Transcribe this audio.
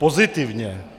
Pozitivně.